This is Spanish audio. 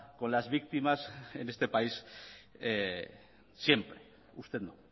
con las víctimas en este país siempre usted no